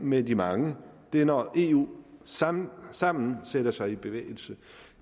med de mange det er når eu sammen sammen sætter sig i bevægelse